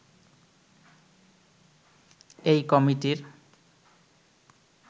এই কমিটির